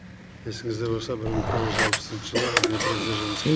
есіңізде болса бір мың тоғыз жүз алпысыншы жылы днепродзержинск